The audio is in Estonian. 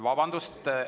Vabandust!